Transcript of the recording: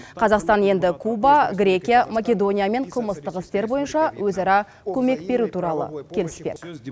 қазақстан енді куба грекия македониямен қылмыстық істер бойынша өзара көмек беру туралы келіспек